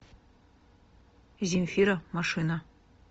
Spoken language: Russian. земфира машина